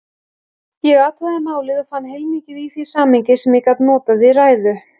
Ég athugaði málið og fann heilmikið í því samhengi, sem ég gat notað í ræðu.